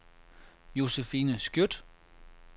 Josefine Skjødt